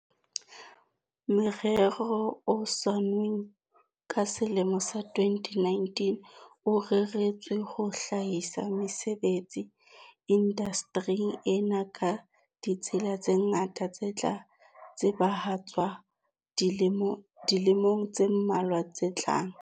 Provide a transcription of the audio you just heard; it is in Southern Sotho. Morero noa o saennweng ka selemo sa 2019, o reretswe ho hlahisa mesebetsi indaste ring ena ka ditsela tse ngata tse tla tsebahatswa dilemong tse mmalwa tse tlang.